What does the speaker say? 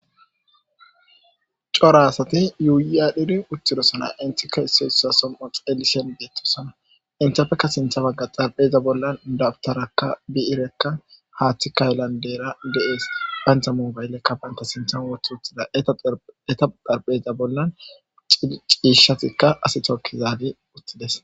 cora asati yuuyi adhiri uttidosana inthikka issoyssa som7o xelishen geettosana inthiafeka sintha bagga xarpheza bollan dabtarakka biirekka haaththi kayllandeera de7ees bayntha mubayllekka banta sintha wotu uthida eta dharpheza bollan ciishshatikka asitokkizaade uttides